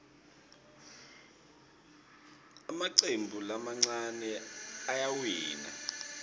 emacembu lamancane ayawina